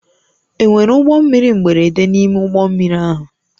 Enwere ụgbọ mmiri mberede n'ime ụgbọ mmiri ahụ?